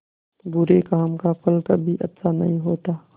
बुरे काम का फल कभी अच्छा नहीं होता